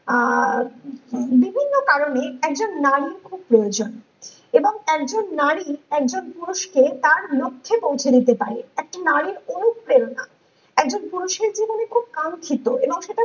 আহ বিভিন্ন কারণে একজন নারী খুব প্রয়োজন এবং একজন নারী একজন পুরুষকে তার লক্ষ্যে পৌঁছে দিতে পারে । একটি নারীর ও প্রেরণা একজন পুরুষের জীবনে খুব কাঙ্ক্ষিত এবং সেটা